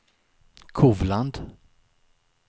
Kovland